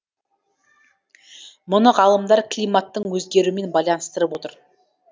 мұны ғалымдар климаттың өзгеруімен байланыстырып отыр